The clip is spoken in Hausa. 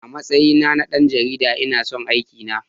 A matsayi na na ɗan jarida, ina son aikina.